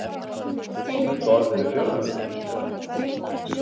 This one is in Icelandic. Slík orð eru fjölmörg í íslensku.